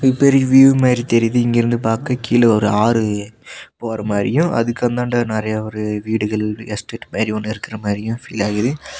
இது பெரிய வியூ மாரி தெரியுது இங்கிருந்து பாக்க கீழ ஒரு ஆறு போற மாரியு அதுக்கந்தாண்ட நெறைய ஒரு வீடுகள் எஸ்டேட் மாரி ஒன்னு இருக்கற மாரியு ஃபீல் ஆகுது.